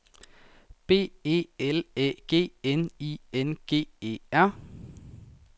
B E L Æ G N I N G E R